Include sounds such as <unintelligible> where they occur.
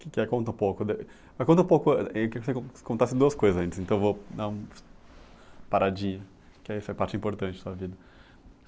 Que que é, conta um pouco de, mas conta um pouco, eu queria que você con contasse duas coisas antes, então vou dar um <unintelligible> paradinha, que aí essa parte importante da vida.